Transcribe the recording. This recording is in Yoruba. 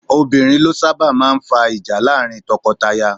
Obìnrin ló sábà máa ń fa ìjà láàrin tọkọtaya